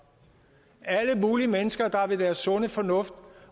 alle mulige mennesker der er ved deres sunde fornuft